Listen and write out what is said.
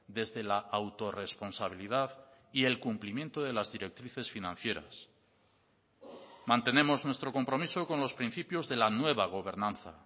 desde la autorresponsabilidad y el cumplimiento de las directrices financieras mantenemos nuestro compromiso con los principios de la nueva gobernanza